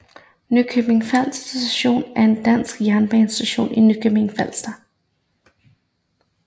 Nykøbing F Station er en dansk jernbanestation i Nykøbing Falster